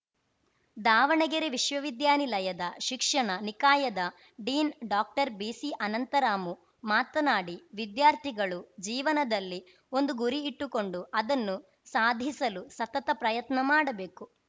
ದಾವಣಗೆರೆ ವಿಶ್ವವಿದ್ಯಾನಿಲಯದ ಶಿಕ್ಷಣ ನಿಕಾಯದ ಡೀನ್‌ ಡಾಕ್ಟರ್ಬಿಸಿಅನಂತರಾಮು ಮಾತನಾಡಿ ವಿದ್ಯಾರ್ಥಿಗಳು ಜೀವನದಲ್ಲಿ ಒಂದು ಗುರಿ ಇಟ್ಟುಕೊಂಡು ಅದನ್ನು ಸಾಧಿಸಲು ಸತತ ಪ್ರಯತ್ನ ಮಾಡಬೇಕು